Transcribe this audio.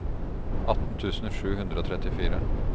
atten tusen sju hundre og trettifire